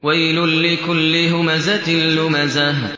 وَيْلٌ لِّكُلِّ هُمَزَةٍ لُّمَزَةٍ